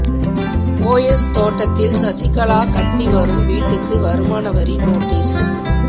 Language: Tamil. போயஸ் தோட்டத்தில் சசிகலா கட்டி வரும் வீட்டுக்கு வருமான வரி நோட்டீஸ்